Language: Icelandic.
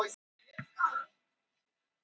Þú ert aldeilis hugguleg!